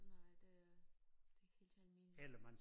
Nej det det helt almindeligt